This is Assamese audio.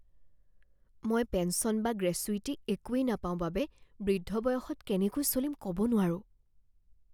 মই পেঞ্চন বা গ্ৰেচুইটি একোৱেই নাপাও বাবে বৃদ্ধ বয়সত কেনেকৈ চলিম ক'ব নোৱাৰোঁ